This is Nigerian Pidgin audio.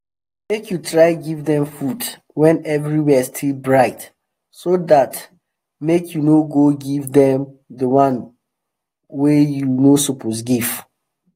make u try give them food when everywhere still bright so that make u no go give them the one wa u no suppose give